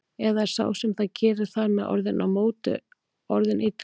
Eða er sá sem það gerir þar með orðinn á móti- orðinn illur?